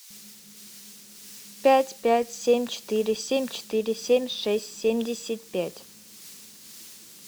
пять пять семь четыре семь четыре семь шесть семьдесят пять